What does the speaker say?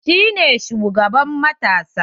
Shi ne shugaban matasa?